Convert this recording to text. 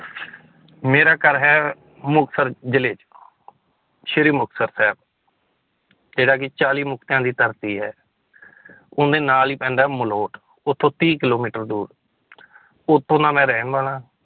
ਮੇਰਾ ਘਰ ਹੈ, ਮੁਕਤਸਰ ਜ਼ਿਲ੍ਹੇ ਚ ਸ੍ਰੀ ਮੁਕਤਸਰ ਸਾਹਿਬ ਜਿਹੜਾ ਕਿ ਚਾਲੀ ਮੁਕਤਿਆਂ ਦੀ ਧਰਤੀ ਹੈ ਉਹਦੇ ਨਾਲ ਹੀ ਪੈਂਦਾ ਹੈ ਮਲੋਠ ਉੱਥੋਂ ਤੀਹ ਕਿੱਲੋਮੀਟਰ ਦੂਰ ਉੱਥੋਂ ਦਾ ਮੈਂ ਰਹਿਣ ਵਾਲਾ